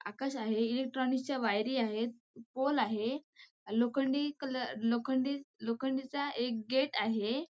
आकाश आहे इलेक्ट्रॉनिक च्या वायरी आहे पोल आहे लोखंडी कलर लोखंडीचा एक गेट आहे.